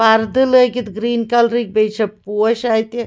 .پردٕلٲگِتھ green کلرٕکۍبیٚیہِ چھ پوش اَتہِ